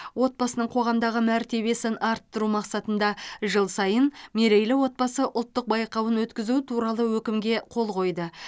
отбасының қоғамдағы мәртебесін арттыру мақсатында жыл сайын мерейлі отбасы ұлттық байқауын өткізу туралы өкімге қол қойды